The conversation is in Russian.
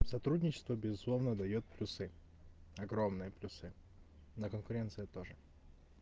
сотрудничество безусловно даёт плюсы огромные плюсы на конкуренции тоже